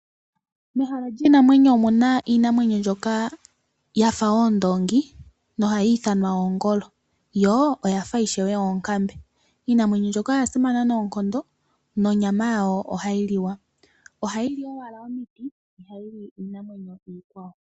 Mehala lyiinamweno omuna iinamwenyo mbyoka ya fa oondongi nohayi ithanwa oongolo. Yo oya fa ishewe oonkambe. Iinamwenyo mbyoka oya simana noonkondo nonyama yayo ohayi liwa. Ohayi li owala omiti na ihayi li iinamwenyo iikwawo.